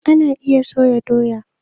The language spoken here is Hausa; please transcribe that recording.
Ana iya soya doya